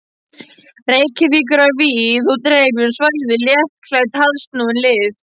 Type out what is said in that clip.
Reykjavíkur á víð og dreif um svæðið, léttklædd, harðsnúin lið.